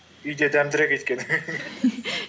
үйде дәмдірек өйткені